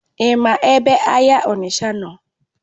Ima ebe ahịa Onitsha nọ?